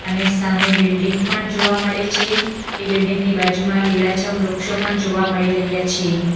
અને સામે બિલ્ડીંગ પણ જોવા મળે છે એ બિલ્ડીંગ ની બાજુમાં લીલાછમ વૃક્ષો પણ જોવા મળી રહ્યા છે.